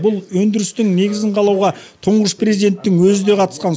бұл өндірістің негізін қалауға тұңғыш президенттің өзі де қатысқан